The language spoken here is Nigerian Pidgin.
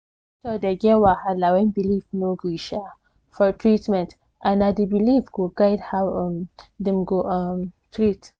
doctor dey get wahala when belief no gree um for treatment and na the belief go guide how um dem go um treat